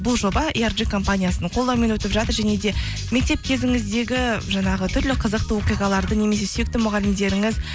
бұл жоба компаниясының қолдауымен өтіп жатыр және де мектеп кезіңіздегі жаңағы түрлі қызықты оқиғаларды немесе сүйікті мұғалімдеріңіз